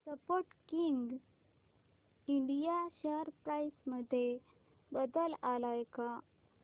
Sportking India share price मध्ये बदल आलाय का